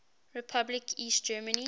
republic east germany